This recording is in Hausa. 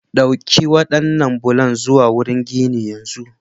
Ɗauki waɗannan bulan zuwa wurin ginin yanzu!